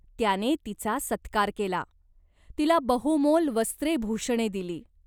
त्याने तिचा सत्कार केला. तिला बहुमोल वस्त्रेभूषणे दिली.